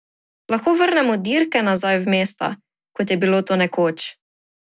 Lahko vrnemo dirke nazaj v mesta, kot je bilo to nekoč?